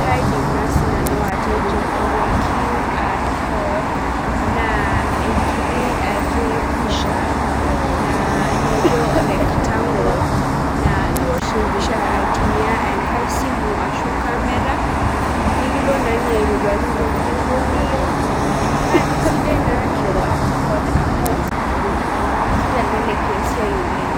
kaidim naa sinanu atejo ore QR code naa enkiti ake pisha naa naijo rectangle naa iwosh empisha aitumia enkae simu ashu camera nikilo naa inye aitoduaki intokiting duo niyieu naa kisidai naa QR code amu kitelelek esiai oleng